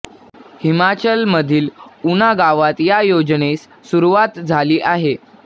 हिमाचल मधील ऊना गावात या योजनेस सुरुवात झाली आहे